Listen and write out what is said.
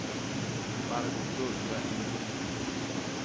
Margot Gullberg